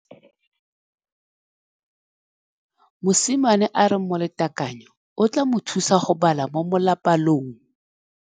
Mosimane a re molatekanyô o tla mo thusa go bala mo molapalong.